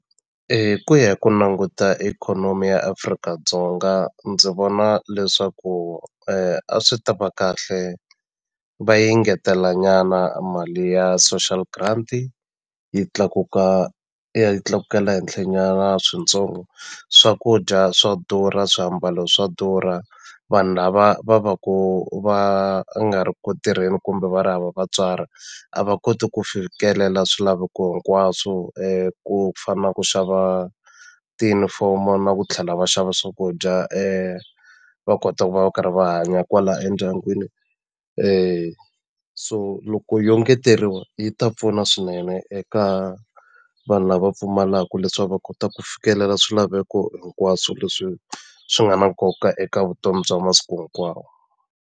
Hi ku ya hi ku languta ikhonomi ya Afrika-Dzonga ndzi vona leswaku a swi ta va kahle va yi ngetela nyana mali ya social grant yi tlakuka yi tlakukela henhlw nyana switsongo swakudya swa durha swiambalo swa durha vanhu lava va va ku va nga ri ku tirheni kumbe va ri hava vatswari a va koti ku fikelela swilaveko hinkwaswo ku fana na ku xava tiyunifomo na ku tlhela va xava swakudya va kota ku va va karhi va hanya kwala endyangwini so loko yo engeteriwa yi ta pfuna swinene eka vanhu lava pfumalaku leswaku va kota ku fikelela swilaveko hinkwaswo leswi swi nga na nkoka eka vutomi bya masiku hinkwawo.